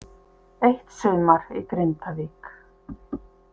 Eitt sumar í Grindavík.